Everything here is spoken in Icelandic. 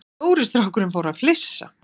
Stóri strákurinn fór að flissa.